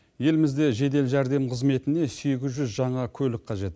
елімізде жедел жәрдем қызметіне сегіз жүз жаңа көлік қажет